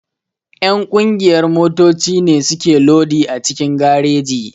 Ƴan ƙungiyar motoci ne suke lodi a cikin gareji.